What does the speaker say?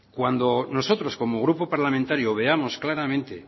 cuando nosotros como grupo parlamentario veamos claramente